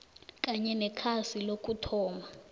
kanye nekhasi lokuthoma